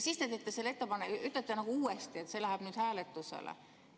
Siis te ütlete uuesti, et see läheb hääletusele.